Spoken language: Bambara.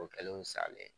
O kɛlen salen